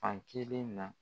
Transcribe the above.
Fn kelen na